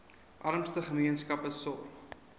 armste gemeenskappe sorg